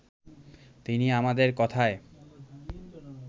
তিনি আমাদের কথায়